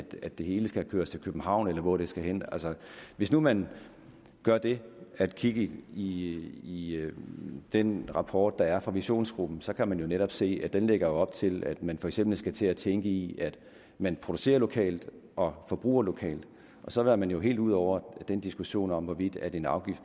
at det hele skal køres til københavn eller hvor det skal hen hvis nu man gør det at kigge i i den rapport der er fra visionsgruppen så kan man jo netop se at den lægger op til at man for eksempel skal til at tænke i at man producerer lokalt og forbruger lokalt og så er man jo helt ude over den diskussion om hvorvidt en afgift